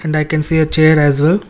and i can see a chair as well.